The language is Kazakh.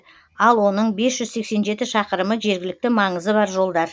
ал оның бес жүз сексен жеті шақырымы жергілікті маңызы бар жолдар